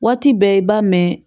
Waati bɛɛ i b'a mɛn